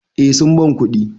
Eh sun ban kuɗi.